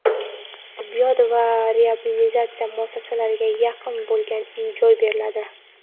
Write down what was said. tibbiyot va reabilitatsiya muassasalariga yaqin bo‘lgan uy-joy beriladi.